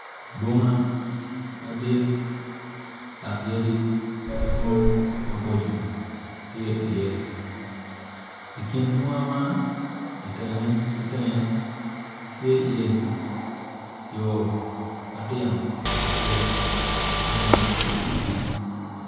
Bunga madit dok yadi madwong maboco tye iye i kin bunga man itenge ki tenge tye iye yo matino aryo ma ungak ki iyigi